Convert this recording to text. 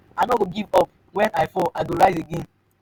i no fit give up wen i fall i go rise again.